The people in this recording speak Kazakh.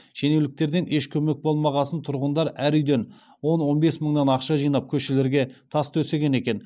шенеуніктерден еш көмек болмағасын тұрғындар әр үйден он он бес мыңнан ақша жинап көшелерге тас төсеген екен